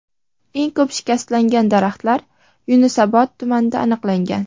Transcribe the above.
Eng ko‘p shikastlangan daraxtlar Yunusobod tumanida aniqlangan.